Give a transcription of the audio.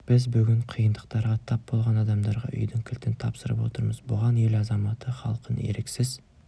біз бүгін қиындықтарға тап болған адамдарға үйдің кілтін тапсырып отырмыз бұған ел азаматы халқын еріксіз